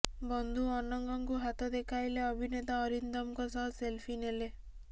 ବନ୍ଧୁ ଅନଙ୍ଗଙ୍କୁ ହାତ ଦେଖାଇଲେ ଅଭିନେତା ଅରିନ୍ଦମଙ୍କ ସହ ସେଲଫି ନେଲେ